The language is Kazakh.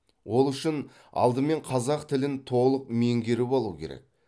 ол үшін алдымен қазақ тілін толық меңгеріп алу керек